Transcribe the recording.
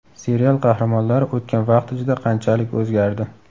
Serial qahramonlari o‘tgan vaqt ichida qanchalik o‘zgardi?